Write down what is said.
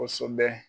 Kosɛbɛ